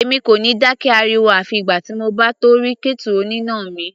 Èmi kò ní dákẹ́ ariwo àfi ìgbà tí mo bá tó rí kẹ́tù oníná mi.